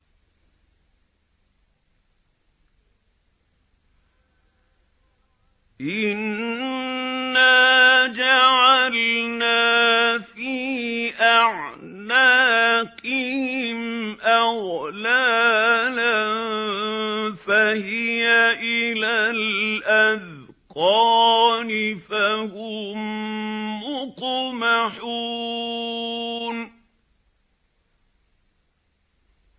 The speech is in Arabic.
إِنَّا جَعَلْنَا فِي أَعْنَاقِهِمْ أَغْلَالًا فَهِيَ إِلَى الْأَذْقَانِ فَهُم مُّقْمَحُونَ